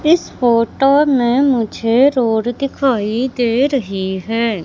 इस फोटो में मुझे रोड दिखाई दे रही है।